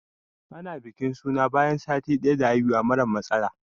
Ana bikin suna ne bayan sati daya da haihuwa mara matsala.